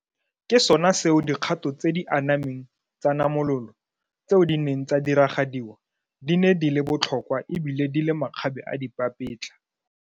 Ke sona seo dikgato tse di anameng tsa namolo tseo di neng tsa diragadiwa di ne di le botlhokwa ebile di le makgabeadipapetla.